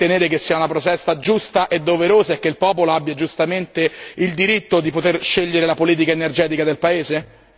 È d'accordo con me nel ritenere che sia una protesta giusta e doverosa e che il popolo abbia giustamente il diritto di poter scegliere la politica energetica del paese?